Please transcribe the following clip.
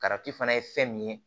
fana ye fɛn min ye